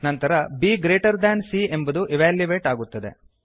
ನಂತರ b greater than c ಎಂಬುದು evaluate ಆಗುತ್ತದೆ